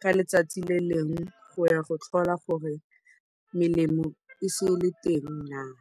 ka letsatsi le lengwe go ya go tlhola gore melemo a e setse e le teng naa.